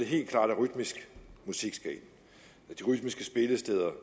helt klart at rytmisk musik skal ind de rytmiske spillesteder